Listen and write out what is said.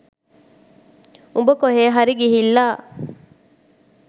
උඹ කොහේ හරි ගිහිල්ලා